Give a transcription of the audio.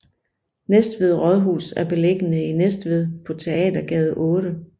Næstved Rådhus er beliggende i Næstved på Teatergade 8